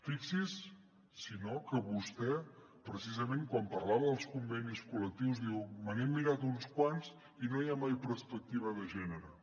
fixi’s si no que vostè precisament quan parlava dels convenis col·lectius diu me n’he mirat uns quants i no hi ha mai perspectiva de gènere